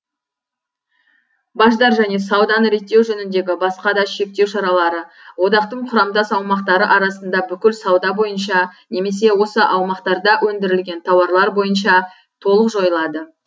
баждар және сауданы реттеу жөніндегі басқа да шектеу шаралары одақтың құрамдас аумақтары арасында бүкіл сауда бойынша немесе осы аумақтарда өндірілген тауарлар бойынша толық жойылады